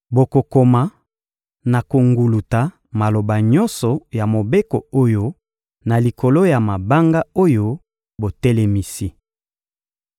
Bokokoma na konguluta maloba nyonso ya mobeko oyo na likolo ya mabanga oyo botelemisi.»